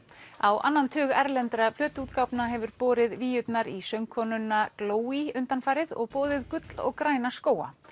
á annan tug erlendra hefur borið víurnar í söngkonuna undanfarið og boðið gull og græna skóga